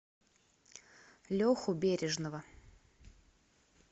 леху бережного